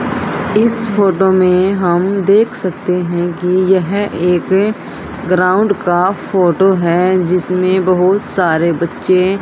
इस फोटो में हम देख सकते हैं कि यह एक ग्राउंड का फोटो है जिसमें बहुत सारे बच्चे--